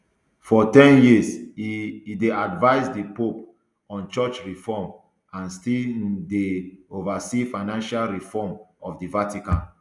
for ten years e dey advise di pope on church reform and e still um dey oversee financial reform of di vatican